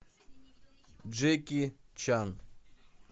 джеки чан